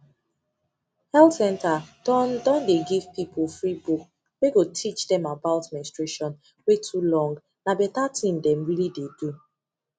health center don don dey give people free book wey go teach dem about menstruation wey too longna better thing dem really dey do